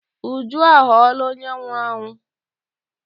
Uju aghọọla onye nwụrụ anwụ.